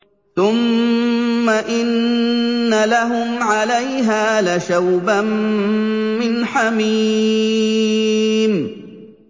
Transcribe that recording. ثُمَّ إِنَّ لَهُمْ عَلَيْهَا لَشَوْبًا مِّنْ حَمِيمٍ